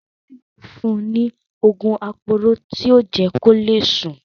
Ṣọlá yóò fún ní òògùn aporó tí yóò jẹ́ kó le sùn.